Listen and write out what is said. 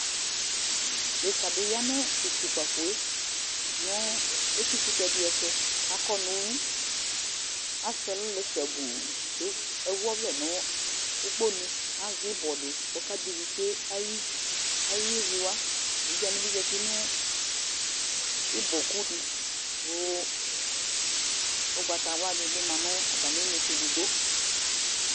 deka di ya no to kpafoe no etikotɛ di ɛto ko akɔ no uwi asɛ ɛlo lɛ sabu ko ewu ɔvlɛ no ukponu azɛ ibɔ di ko ɔka dɛ ivi tsue ayevi wa evidze wani zati no ibɔ ku di ko ugbata wla di bi ma no atami inetse edigbo